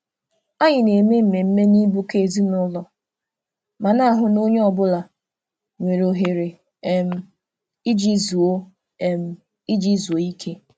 Anyị na-eme mmemme n'ịbụkọ ezinụlọ ma na-ahụ na onye ọ bụla nwere ohere iji zuo ike.